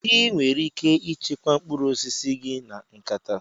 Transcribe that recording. Ị nwere ike ịchekwa mkpụrụ osisi gị na nkata.